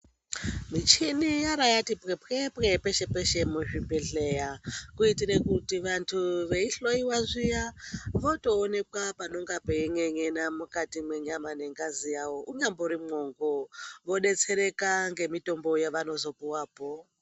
Michini yora yati pwepwepwe peshe peshe muzvibhedhleya kuitire kuti vantu veihloyiwa zviya votooneka panonga pein'en'ena makati mwenyama nengazi yawo unyambori mwongo vodetsereka ngemitombo yevanozopuwapo.